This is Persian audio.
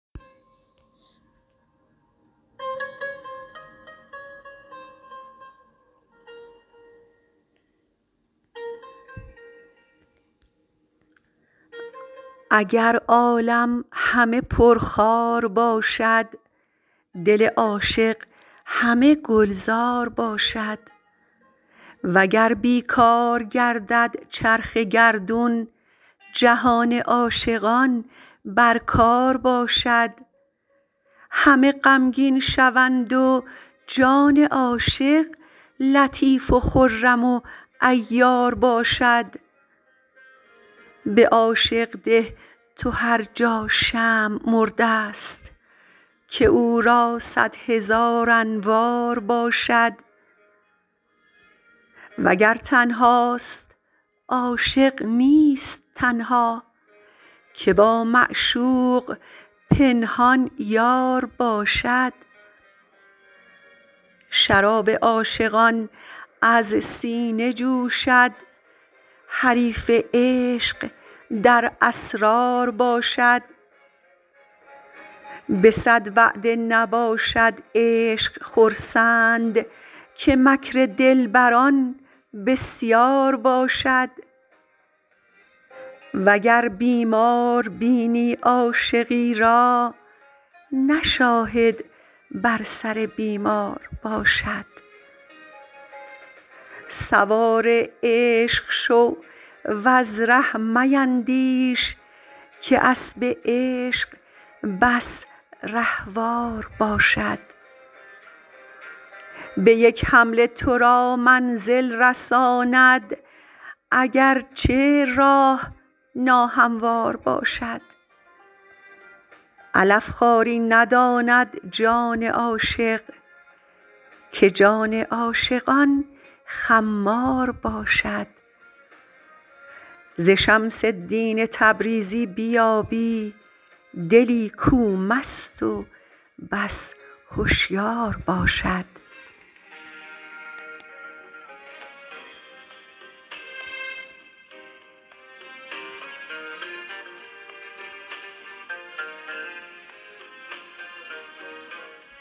اگر عالم همه پرخار باشد دل عاشق همه گلزار باشد وگر بی کار گردد چرخ گردون جهان عاشقان بر کار باشد همه غمگین شوند و جان عاشق لطیف و خرم و عیار باشد به عاشق ده تو هر جا شمع مرده ست که او را صد هزار انوار باشد وگر تنهاست عاشق نیست تنها که با معشوق پنهان یار باشد شراب عاشقان از سینه جوشد حریف عشق در اسرار باشد به صد وعده نباشد عشق خرسند که مکر دلبران بسیار باشد وگر بیمار بینی عاشقی را نه شاهد بر سر بیمار باشد سوار عشق شو وز ره میندیش که اسب عشق بس رهوار باشد به یک حمله تو را منزل رساند اگر چه راه ناهموار باشد علف خواری نداند جان عاشق که جان عاشقان خمار باشد ز شمس الدین تبریزی بیابی دلی کو مست و بس هشیار باشد